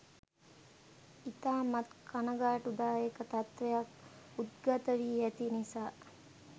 ඉතාමත් කණගාටු දායක තත්වයක් උද්ගත වී ඇති නිසා